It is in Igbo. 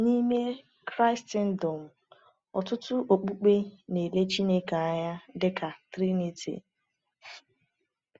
N’ime Kraịstndọm, ọtụtụ okpukpe na-ele Chineke anya dịka Triniti.